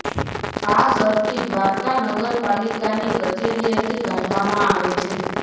આ સર્ટી દ્વારકા નગર પાલીકાની કચેરીએથી કાઢવામાં આવે છે